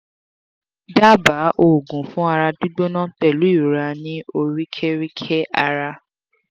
daba oogun fun ara gbigbona pelu irora ni orikerike ara